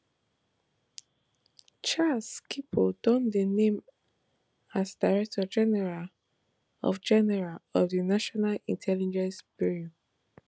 charles kipo don dey named as director general of general of di national intelligence bureau